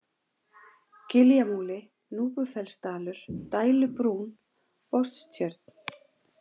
Giljamúli, Núpufellsdalur, Dælubrún, Botnstjörn